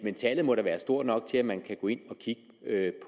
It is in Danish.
tallet må da være stort nok til at man kan gå ind